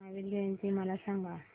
महावीर जयंती मला सांगा